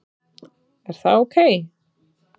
Er það ok?